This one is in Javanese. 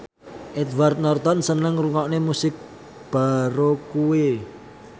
Edward Norton seneng ngrungokne musik baroque